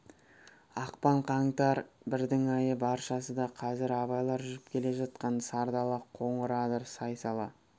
ақпан қаңтар бірдің айы баршасы да қазір абайлар жүріп келе жатқан сар дала қоңыр адыр сай-сала